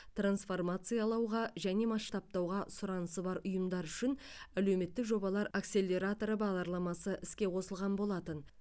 трансформациялауға және масштабтауға сұранысы бар ұйымдар үшін әлеуметтік жобалар акселераторы бағдарламасы іске қосылған болатын